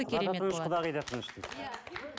құдағи да тыныш де иә